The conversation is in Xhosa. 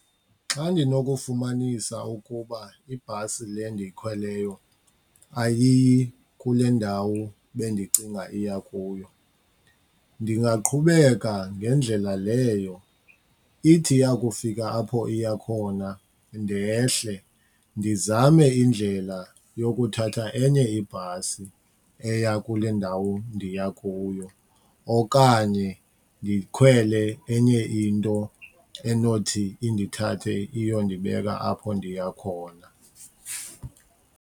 Xa ndinokufumanisa ukuba ibhasi le ndiyikhweleyo ayiyi kule ndawo bendicinga iya kuyo ndingaqhubeka ngendlela leyo. Ithi yakufika apho iya khona ndehle, ndizame indlela yokuthatha enye ibhasi eya kule ndawo ndiya kuyo okanye ndikhwele enye into enothi indithathe iyondibeka apho ndiya khona.